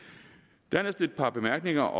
dernæst et par bemærkninger